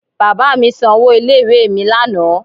Bàbá mi san owó ilé ìwé mi lánàá